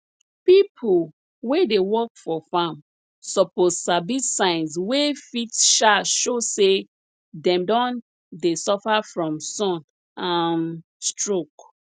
pipo wey dey work for farm suppose sabi signs wey fit um show say dem don dey suffer from sun um stroke